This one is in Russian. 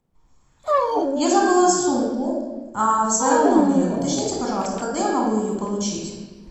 я забыла сумку в своем номере уточните пожалуйста когда я могу ее получить